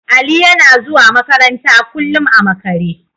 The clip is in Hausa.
Ali yana zuwa makaranta kullum a makare.